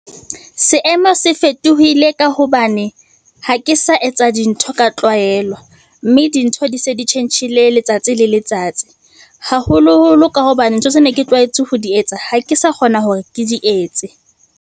Seemo se fetohile ka hobane ha ke sa etsa dintho ka tlwaelwa, mme dintho di se di tjhentjhile letsatsi le letsatsi, haholoholo ka hobane ntho tse ne ke tlwaetse ho di etsa, ha ke sa kgona hore ke di etse.